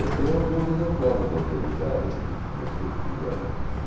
Eu tenho alguns exemplares da Realidade aqui, se vocês quiserem